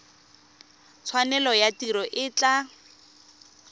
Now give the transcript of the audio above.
tshwanelo ya tiro e tla